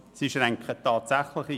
Sie schränken tatsächlich ein.